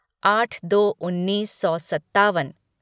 आट दो उन्नीस सौ सत्तावन